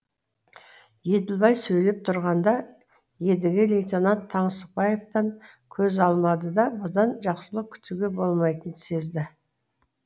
еділбай сөйлеп тұрғанда едіге лейтенант таңсықбаевтан көз алмады да бұдан жақсылық күтуге болмайтынын сезді